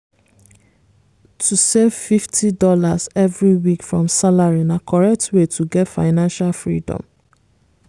to save fifty dollarsevery week from salary na correct way to get financial freedom.